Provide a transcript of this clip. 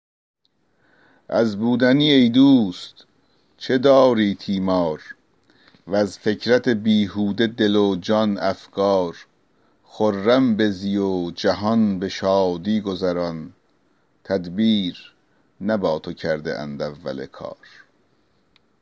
از بودنی ای دوست چه داری تیمار وز فکرت بیهوده دل و جان افکار خرم بزی و جهان به شادی گذران تدبیر نه با تو کرده اند اول کار